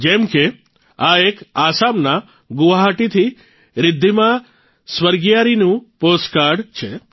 જેમ કે આ એક આસામના ગુવાહાટીથી રિધ્ધિમા સ્વર્ગિયારીનું પોસ્ટકાર્ડ છે